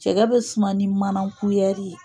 Cɛgɛ bɛ suma ni mana kuyɛri ye